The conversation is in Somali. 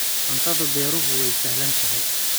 Cuntada beeruhu waa sahlan tahay.